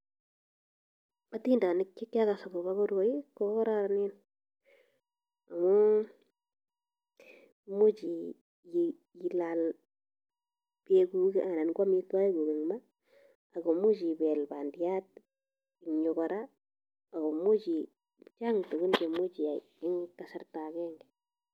Otindenik chekiakas akobo koroi ko kororonen amun imuch ilaal chebukanan ko amitwokkikuk en maa ak komuch ibeel bandiat eng' yuu kora ak komuch chang tukun cheimuch iyai en kasarta akeng'e.